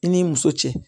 I ni muso cɛ